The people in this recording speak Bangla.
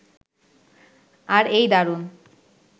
আর এই দারুণ